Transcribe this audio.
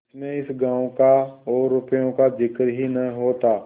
जिसमें इस गॉँव का और रुपये का जिक्र ही न होता